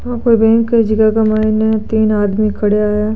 ओ कोई बैंक है जीका के माईने तीन आदमी खडीया है।